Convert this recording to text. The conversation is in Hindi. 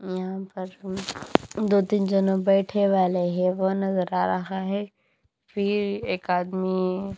एम्म फर्स्ट मै दो तीन जाना बैठा हुआ है वो उन्हें बता रहा हैफिर एक आदमी।